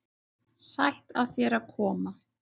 Sætt af þér að koma.